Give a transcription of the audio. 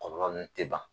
Kɔlɔlɔ nun tɛ ban